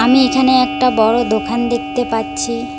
আমি এখানে একটা বড় দোখান দেখতে পাচ্ছি।